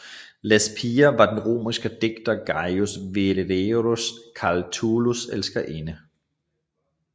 Lesbia var den romerske digter Gaius Valerius Catullus elskerinde